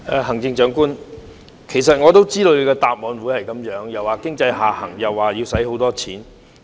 行政長官，其實我也知道你的答覆會是這樣，說經濟下行，又說要花很多錢。